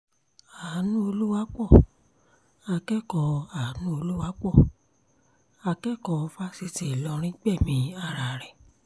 anú olùwapo akẹ́kọ̀ọ́ olùwapo akẹ́kọ̀ọ́ fáṣítì ìlọrin gbẹ̀mí ara rẹ̀